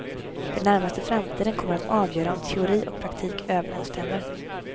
Den närmaste framtiden kommer att avgöra om teori och praktik överensstämmer.